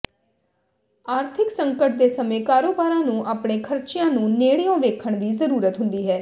ਆਰਥਿਕ ਸੰਕਟ ਦੇ ਸਮੇਂ ਕਾਰੋਬਾਰਾਂ ਨੂੰ ਆਪਣੇ ਖਰਚਿਆਂ ਨੂੰ ਨੇੜਿਓਂ ਵੇਖਣ ਦੀ ਜ਼ਰੂਰਤ ਹੁੰਦੀ ਹੈ